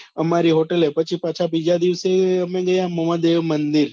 અમારી hotel એ પછી પાછા બીજા દિવસે અમે ગયા મહાદેવ મંદિર.